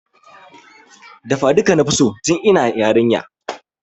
Dafa duka nafi so tun ina yarinya